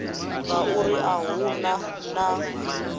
ngauri a hu na na